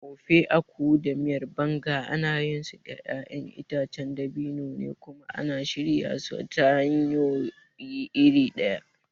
Ofe Akwu da Miyar Banga ana yinsu da ƴaƴan itacen dabino ne kuma ana shirya su ta hanyoyi iri ɗaya.